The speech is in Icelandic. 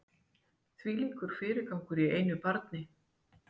Þvílíkur fyrirgangur í einu barni